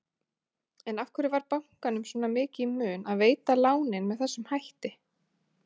En af hverju var bankanum svona mikið í mun að veita lánin með þessum hætti?